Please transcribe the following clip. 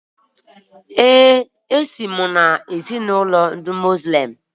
Ee, esi m na ezinụlọ Muslim